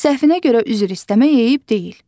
Səhvinə görə üzr istəmək eyib deyil.